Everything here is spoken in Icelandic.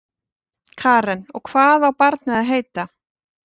Karen: Og hvað á barnið að heita?